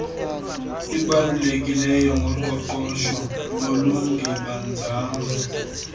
ibalulekileyo ngoqoqosho olungebanzanga